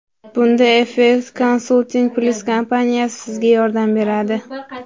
Bunda Effekt Consulting Plus kompaniyasi sizga yordam beradi!